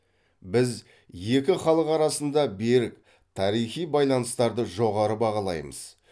біз екі халық арасындағы берік тарихи байланыстарды жоғары бағалаймыз